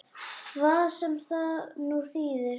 Hvað sem það nú þýðir!